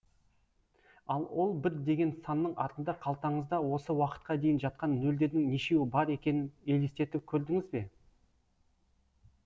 ал ол бір деген санның артында қалтаңызда осы уақытқа дейін жатқан нөлдердің нешеуі бар екенін елестетіп көрдіңіз бе